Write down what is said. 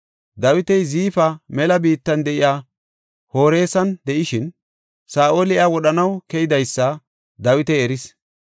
Dawiti Ziifa mela biittan de7iya Horesan de7ishin, Saa7oli iya wodhanaw keydaysa Dawiti eris.